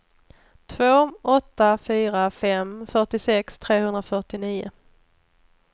två åtta fyra fem fyrtiosex trehundrafyrtionio